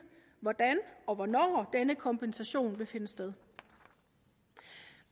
hvordan og hvornår denne kompensation vil finde sted